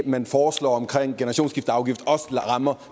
man foreslår om generationsskifteafgift også rammer